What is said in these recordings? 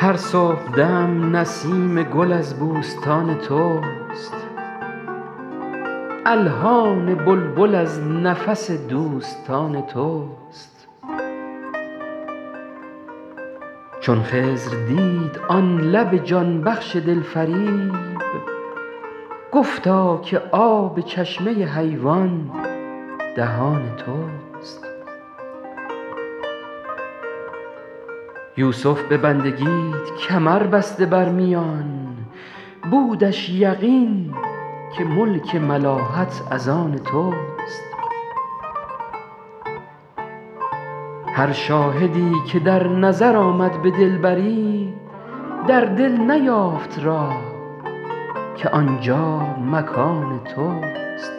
هر صبحدم نسیم گل از بوستان توست الحان بلبل از نفس دوستان توست چون خضر دید آن لب جان بخش دلفریب گفتا که آب چشمه حیوان دهان توست یوسف به بندگیت کمر بسته بر میان بودش یقین که ملک ملاحت از آن توست هر شاهدی که در نظر آمد به دلبری در دل نیافت راه که آنجا مکان توست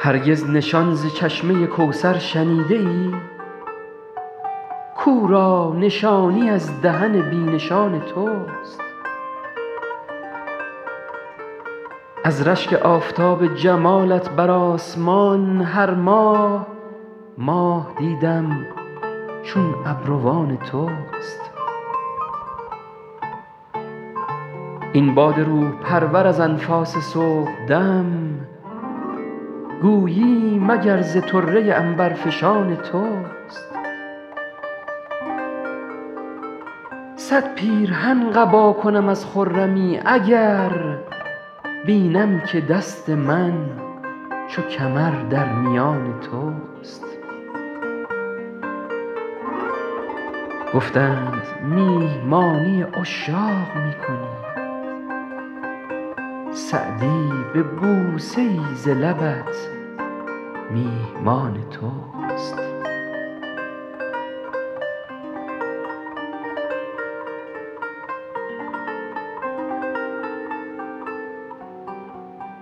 هرگز نشان ز چشمه کوثر شنیده ای کاو را نشانی از دهن بی نشان توست از رشک آفتاب جمالت بر آسمان هر ماه ماه دیدم چون ابروان توست این باد روح پرور از انفاس صبحدم گویی مگر ز طره عنبرفشان توست صد پیرهن قبا کنم از خرمی اگر بینم که دست من چو کمر در میان توست گفتند میهمانی عشاق می کنی سعدی به بوسه ای ز لبت میهمان توست